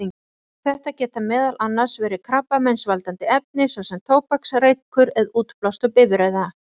Þetta geta meðal annars verið krabbameinsvaldandi efni, svo sem tóbaksreykur eða útblástur bifreiða.